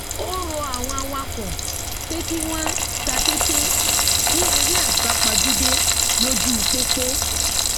ó rọ àwọn awakọ pé kí wọn tàtètè sí eré àsápajúdé lójú pópó